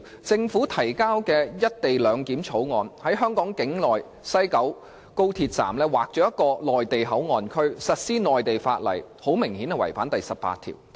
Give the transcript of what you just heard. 政府提交的《條例草案》，在香港境內的高鐵西九龍站劃出內地口岸區，實施內地法例，顯然違反了《基本法》第十八條。